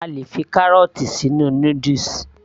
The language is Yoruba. A lè fi kárọ̀ọ̀tì sínú noodles